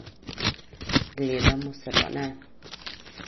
Gledamo se pa ne.